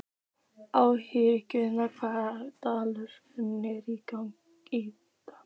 Ástfríður, hvaða dagur er í dag?